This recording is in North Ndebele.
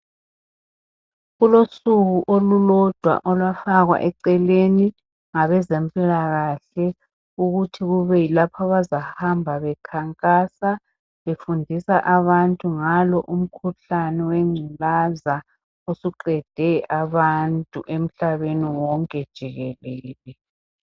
kulosuku olulodwa olwafakwa eceleni ngabe zempilakahle ukuthi kube yilapho abazahamba bekhankasa befundisa abantu ngalo umkhuhlane wengculaza osuqede abantu emhlabeni wonke jikelele.